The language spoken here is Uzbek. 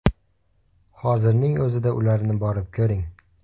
Hozirning o‘zida ularni borib ko‘ring.